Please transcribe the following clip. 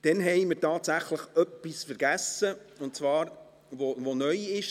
Dann haben wir tatsächlich etwas vergessen, und zwar etwas, das neu ist.